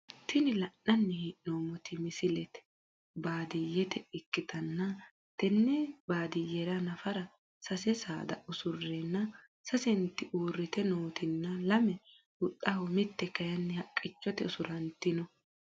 Tini la`nani heenomoti misilete baadiye ikitanna tene baadiyera nafara sase saada usureena sasenti uurite nootina lame huxxaho mite kayini haqichote usurantino.